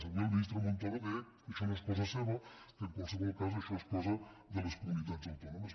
avui el ministre montoro deia que això no és cosa seva que en qualsevol cas això és cosa de les comunitats autònomes